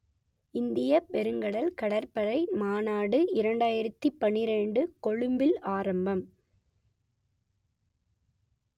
இந்தியப் பெருங்கடல் கடற்படை மாநாடு இரண்டாயிரத்து பன்னிரண்டு கொழும்பில் ஆரம்பம்